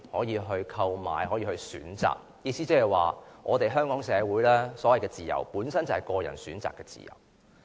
意思即是，香港社會的所謂自由，本身就是個人選擇的自由。